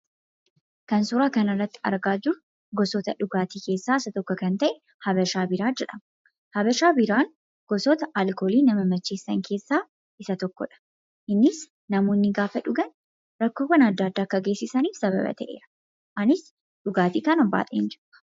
Kan suuraa kanarratti argaa jirru gosoota dhugaatii keessaa isa tokko yoo ta'u, Habashaa biiraa jedhama. Habashaa biiraan gosoota dhugaatii nama macheessan keessaa isa tokkodha. Kunis namoonni yeroo dhugan rakkoowwan adda addaa akka geessisaniif sababa ta'eera. Ani dhugaatii kana baay'een jibba.